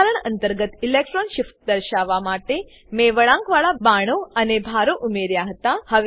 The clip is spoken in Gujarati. બંધારણ અંતર્ગત ઇલેક્ટ્રોન શિફ્ટ દર્શાવવા માટે મેં વળાંકવાળા બાણો અને ભારો ઉમેર્યા હતા